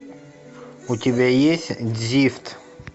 у тебя есть дзифт